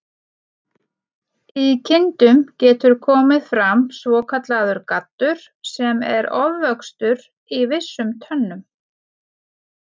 Í kindum getur komið fram svokallaður gaddur, sem er ofvöxtur í vissum tönnum.